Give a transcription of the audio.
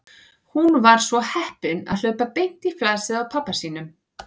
Hún var svo heppin að hlaupa beint í flasið á pabba sínum.